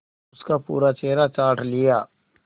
उसका पूरा चेहरा चाट लिया